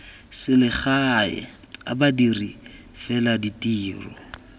selegae a badiri fela ditiro